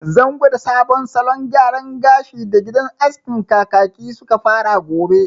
Zan gwada sabon salon gyaran gashin da gidan askin Kakaki suka fara gobe